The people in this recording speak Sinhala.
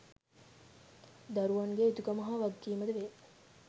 දරුවන් ගේ යුතුකම හා වගකීමද වේ.